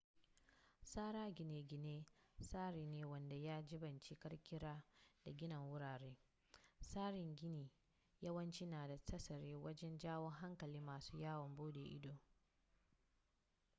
tsara gine-ginen tsari ne wanda ya jibanci kirkira da gina wurare tsarin gini yawanci na da tasiri wajen jawon hankalin masu yawon bude ido